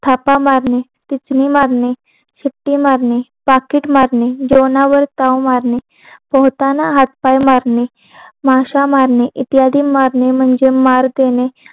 थापा मारणे तितली मारणे शिट्टी मारणे पाकिट मारणे जेवणावर ताव मारणे पोहताना हाथ पाय मारणे माशा मारणे इत्यादी मारणे म्हणजे मार देणे